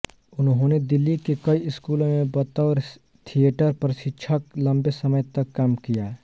उन्होने दिल्ली के कई स्कूलों में बतौर थिएटर प्रशिक्षक लंबे समय तक काम किया